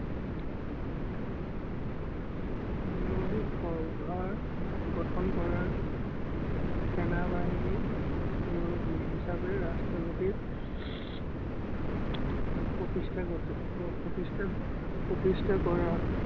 গঠন কৰাৰ সেনা-বাহিনী মুৰব্বী হিচাপে ৰাষ্ট্ৰপতি প্ৰতষ্ঠা কৰা।